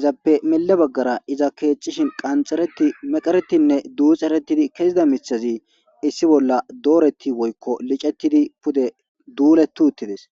Izapoe mille baggara iza keexxishin qanxxereti,meqeretinne duuxeretidi kezida miththazi issi bolla dooreti woykko licetidi pude duuleti uttides.